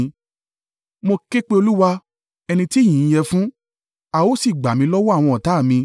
Mo ké pe Olúwa, ẹni tí ìyìn yẹ fún, a ó sì gbà mí lọ́wọ́ àwọn ọ̀tá à mi.